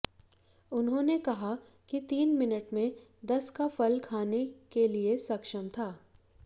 उन्होंने कहा कि तीन मिनट में दस का फल खाने के लिए सक्षम था